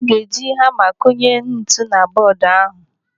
Aga eji hama kunye ntu na bọọdụ ahụ.